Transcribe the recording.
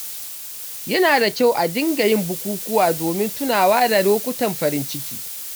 Yana da kyau a dinga yin bukukuwa domin tunawa da lokutan farin ciki.